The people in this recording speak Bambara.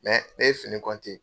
Mɛ ne ye fini